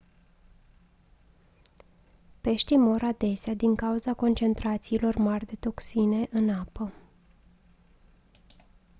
peștii mor adesea din cauza concentrațiilor mari ale toxinei în apă